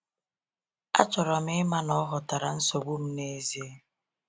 Achọrọ m ịma na ọ ghọtara nsogbu m n’ezie.